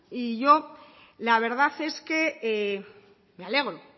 y yo la verdad es que me alegro